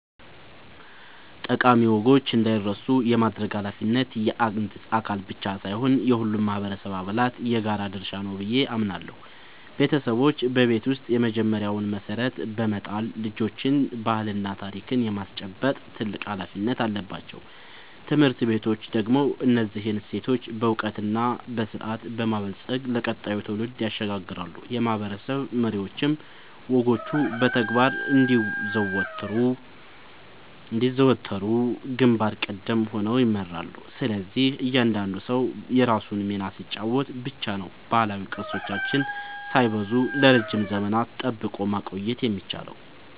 ጠቃሚ ወጎች እንዳይረሱ የማድረግ ኃላፊነት የአንድ አካል ብቻ ሳይሆን የሁሉም ማህበረሰብ አባላት የጋራ ድርሻ ነው ብዬ አምናለሁ። ቤተሰቦች በቤት ውስጥ የመጀመሪያውን መሰረት በመጣል ልጆችን ባህልና ታሪክ የማስጨበጥ ትልቅ ኃላፊነት አለባቸው። ትምህርት ቤቶች ደግሞ እነዚህን እሴቶች በዕውቀትና በስርዓት በማበልጸግ ለቀጣዩ ትውልድ ያሸጋግራሉ፤ የማህበረሰብ መሪዎችም ወጎቹ በተግባር እንዲዘወተሩ ግንባር ቀደም ሆነው ይመራሉ። ስለዚህ እያንዳንዱ ሰው የራሱን ሚና ሲጫወት ብቻ ነው ባህላዊ ቅርሶቻችንን ሳይበረዙ ለረጅም ዘመናት ጠብቆ ማቆየት የሚቻለው።